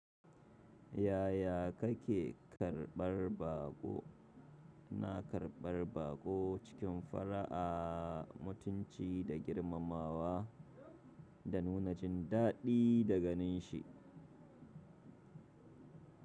Yaya kake karɓar baƙo? Na karɓar baƙo cikin fara'a, mutunci da girmamawa, da nuna jin daɗi da ganin shi.